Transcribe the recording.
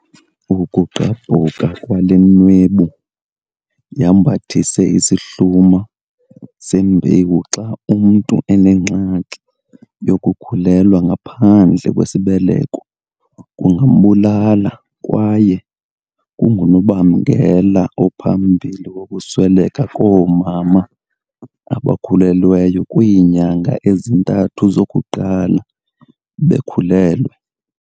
"Ukugqabhuka kwale nwebu yambethise isihluma sembewu xa umntu enengxaki yokukhulelwa ngaphandle kwesibeleko kungambulala kwaye kungunobangela ophambili wokusweleka koomama abakhulelweyo kwiinyanga ezintathu zokuqala bekhulelwe."